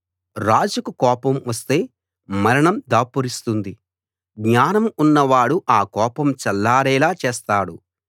రాజుకు కోపం వస్తే మరణం దాపురిస్తుంది జ్ఞానం ఉన్నవాడు ఆ కోపం చల్లారేలా చేస్తాడు